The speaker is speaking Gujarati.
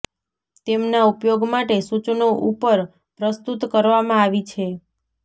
તેમના ઉપયોગ માટે સૂચનો ઉપર પ્રસ્તુત કરવામાં આવી છે